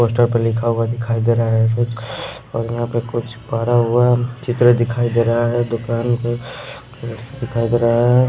Poster पे लिखा हुआ देखाई दे रहा है कुछ और यहाँ पर कुछ पड़ा हुआ चित्र देखाई दे रहा है दुकान का देखाई दे रहा है।